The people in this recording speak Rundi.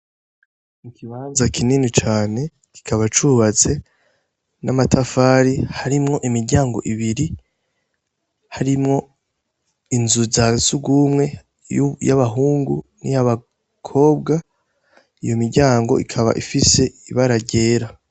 Mi kibanza kinini cane kikaba cubatse n'amatafari harimwo imiryango ibiri harimwo inzu za sugumwe y'abahungu ni yo abakobwa iyo miryango ikaba ifise ibara ryera.